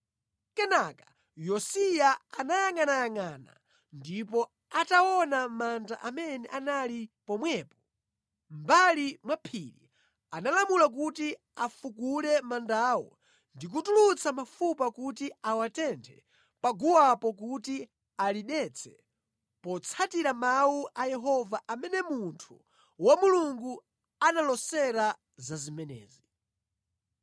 Kenaka Yosiya anayangʼanayangʼana ndipo ataona manda amene anali pomwepo, mʼmbali mwa phiri, analamula kuti afukule mandawo ndi kutulutsa mafupa kuti awatenthe paguwapo kuti alidetse, potsatira mawu a Yehova amene munthu wa Mulungu analoseratu za zimenezi.